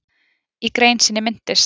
Í grein sinni minntist